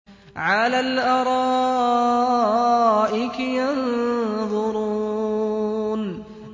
عَلَى الْأَرَائِكِ يَنظُرُونَ